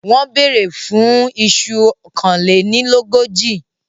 Wọ́n bèèrè fún un iṣu kánlénilógójì.